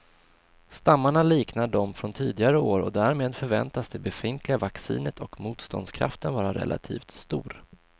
Stammarna liknar de från tidigare år och därmed förväntas det befintliga vaccinet och motståndskraften vara relativt stor.